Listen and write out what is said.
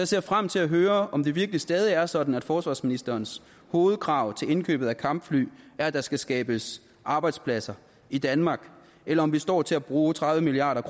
ser frem til at høre om det virkelig stadig er sådan at forsvarsministerens hovedkrav til indkøbet af kampfly er at der skal skabes arbejdspladser i danmark eller om vi står til at bruge tredive milliard